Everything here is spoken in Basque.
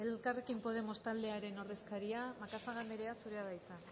elkarrekin podemos taldearen ordezkaria macazaga anderea zurea da hitza